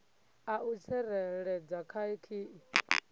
a u tsireledza kha khiyi